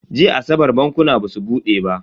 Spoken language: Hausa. Jiya asabar bankuna basu bude ba.